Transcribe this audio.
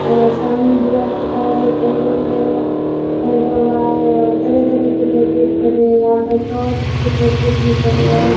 और सामने दीवार के पास एक कैलेंडर है टंगा हुआ है और तरह-तरह की पैकेट पड़े है यहां पर टार्च के पैकेट भी पड़े है।